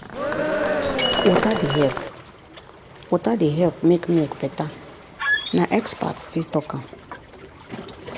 water dey help water dey help make milk better na expert still talk am.